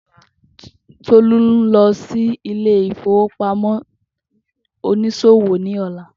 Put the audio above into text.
Tolú ń lọ sí ilé ìfowópamọ́ oniṣòwò ní ọ̀la